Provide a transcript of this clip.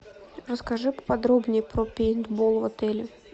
расскажи поподробнее про пейнтбол в отеле